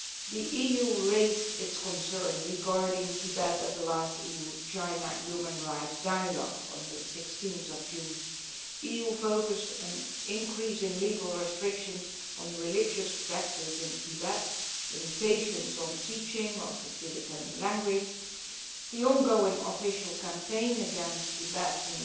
The EU raised its concerns regarding Tibet at the last EU China human rights dialogue on 16 June. The EU focused on increasing legal restrictions on religious practice in Tibet, limitations on the teaching of the Tibetan language, the ongoing official campaign against Tibetan